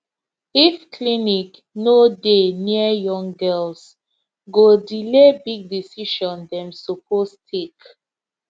if clinic no dey near young girls go delay big decision dem suppose take